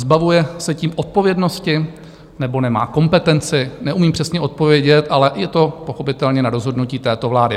Zbavuje se tím odpovědnosti, nebo nemá kompetenci, neumím přesně odpovědět, ale je to pochopitelně na rozhodnutí této vlády.